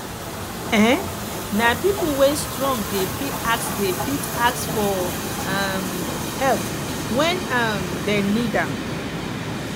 um nah pipo wey strong dey fit ask dey fit ask for um help wen um dem need am